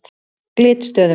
Glitstöðum